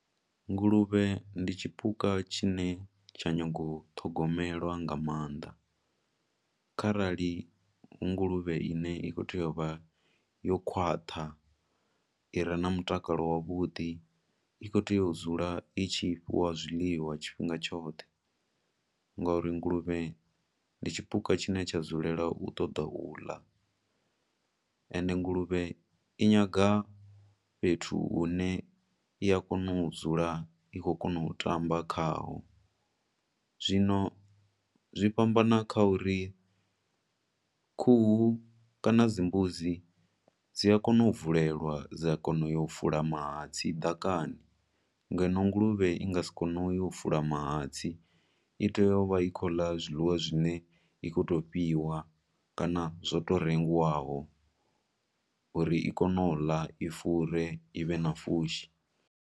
Nguluvhe ndi tshipuka tshi ne tsha nyaga u thogomelwa nga maanḓa, kharali nguluvhe ine i khou tea u vha yo khwaṱha, ire na mutakalo wa vhuḓi, i khou tea u dzula i tshi fhiwa zwiḽiwa tshifhinga tshoṱhe, ngauri nguluvhe ndi tshipuka tshine tsha dzulela u toda u ḽa, ende nguluvhe inyaga fhethu hu ne i a kona u dzula i khou kona u tamba kha ho. Zwino zwi fhambana kha uri khuhu kana dzimbudzi dzi a kona u bvulelwa dza kona u ya u fula mahatsi ḓakani, ngeno nguluvhe i nga si kone u ya u fula mahatsi, i tea u vha i khou ḽa zwiḽiwa zwine i kho to fhiwa kana zwo to rengiwaho, uri i kone u ḽa, i fure, ivhe na fushi.